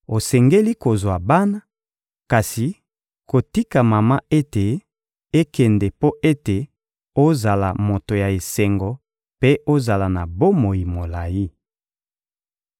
Osengeli kozwa bana, kasi kotika mama ete ekende mpo ete ozala moto ya esengo mpe ozala na bomoi molayi.